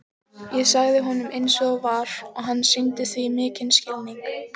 Ég sagði honum eins og var og hann sýndi því mikinn skilning.